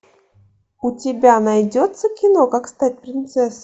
у тебя найдется кино как стать принцессой